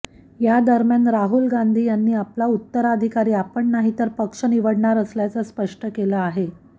यादरम्यान राहुल गांधी यांनी आपला उत्तराधिकारी आपण नाही तर पक्ष निवडणार असल्याचं स्पष्ट केलं आहे